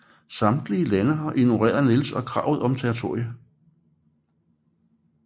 Samtlige lande har ignoreret Niels og kravet om territorie